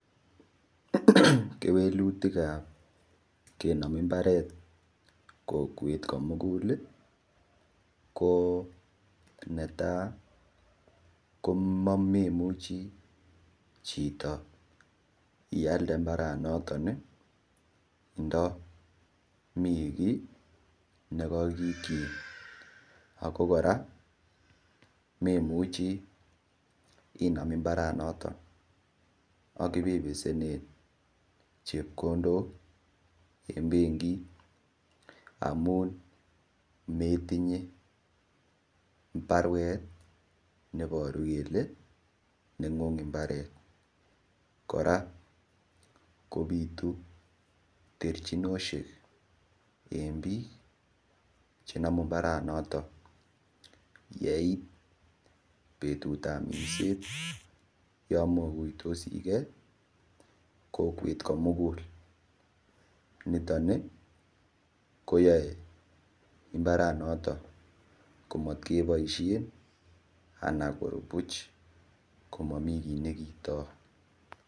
Kewelutik ap kenom mbaret kokwet komugul ko netai komemuchi chito ialde mbaranoton ndami kiy nikaikichin ako kora memuchi inam mbaranoton akipebesene chepkondok en benkit amun metinye baruet neiboru kele neng'ung mbaret kora kobitu terchinoshek eng biik chenomu mbaranoto yeit betut ap minset yo mokuitosikei kokwet komugul nitoni koyoe imbaranoton komatkeboishe ana koru buch komamii kiit nikiitoi.